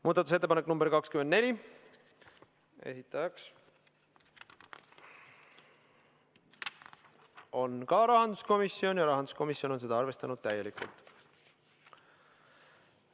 Muudatusettepanek nr 24, esitajaks on samuti rahanduskomisjon ja sedagi on arvestatud täielikult.